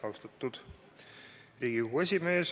Austatud Riigikogu esimees!